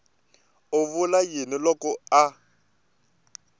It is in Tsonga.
u vula yini loko a